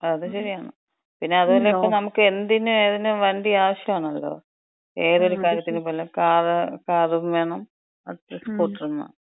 അത് ശരിയാണ്, പിന്നെ അതും അല്ല, ഇപ്പോ നമുക്ക് എന്തിനും ഏതിനും വണ്ടി ആവശ്യാണല്ലോ. ഏതൊരു കാര്യത്തിന് പോയാലും കാറ്, കാറും വേണം, സ്കൂട്ടറും വേണം.